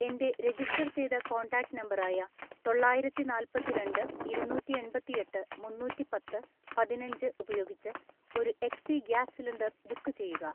എൻ്റെ രജിസ്റ്റർ ചെയ്ത contact number ആയ തൊള്ളായിരത്തിനാല്പത്തിരണ്ട്‍ ഇരുനൂറ്റിഎൺപത്തിഎട്ട് മുന്നൂറ്റിപ്പത്ത് പതിനഞ്ച് ഉപയോഗിച്ച് ഒരു എച്ച്പി ഗ്യാസ് സിലിണ്ടർ ബുക്ക് ചെയ്യുക.